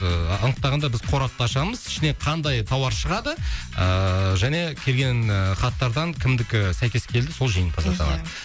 ыыы анықтағанда біз қорапты ашамыз ішінен қандай тауар шығады ыыы және келген ы хаттардан кімдікі сәйкес келді сол жеңімпаз атанады иә